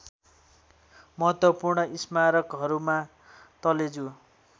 महत्त्वपूर्ण स्मारकहरुमा तलेजु